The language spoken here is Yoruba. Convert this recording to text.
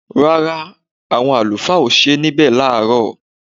Rárá, àwọn àlùfáà ò sí níbí láàárọ̀